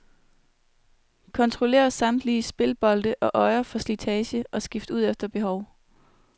Kontroller samtlige splitbolte og øjer for slitage, og skift ud efter behov.